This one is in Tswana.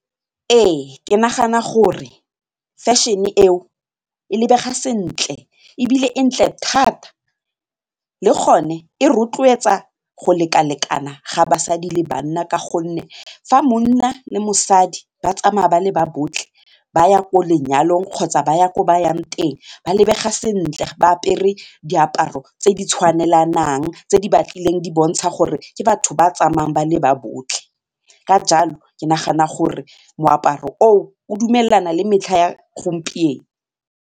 Ee ke nagana gore fashion-e eo e lebega sentle ebile e ntle thata le gone e rotloetsa go lekalekana ga basadi le banna ka gonne fa monna le mosadi ba tsamaya ba le ba botlhe ba ya ko lenyalong kgotsa ba ya ko ba yang teng ba lebega sentle ba apere diaparo tse di tshwanelanang tse di batlileng di bontsha gore ke batho ba tsamayang ba le ba botlhe, ka jalo ke nagana gore moaparo o dumelana le metlha ya gompieno.